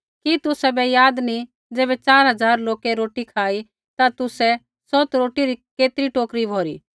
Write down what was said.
कि तुसाबै याद नी ज़ैबै च़ार हज़ार लोकै रोटी खाई ता तुसै सौत रोटी री केतरी टोकरी भौरी